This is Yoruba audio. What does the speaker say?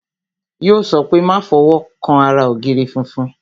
Yo sọ pé "Má fọwọ́ kan ara ògiri funfun"